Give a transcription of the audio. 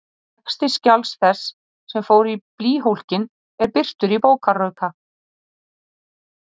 Texti skjals þess, sem fór í blýhólkinn, er birtur í bókarauka.